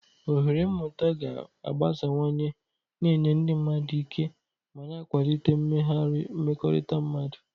Ohere mmụta ga-agbasawanye, na-enye ndị mmadụ ike ma na-akwalite mmegharị mmekọrịta mmadụ.